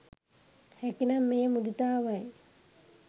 හැකි නම් එය මුදිතාවයි.